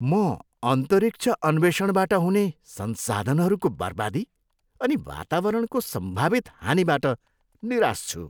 म अन्तरिक्ष अन्वेषणबाट हुने संसाधनहरूको बर्बादी अनि वातावरणको सम्भावित हानिबाट निराश छु।